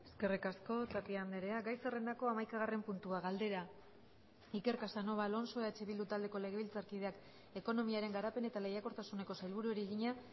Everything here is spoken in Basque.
eskerrik asko tapia andrea gai zerrendako hamaikagarren puntua galdera iker casanova alonso eh bildu taldeko legebiltzarkideak ekonomiaren garapen eta lehiakortasuneko sailburuari egina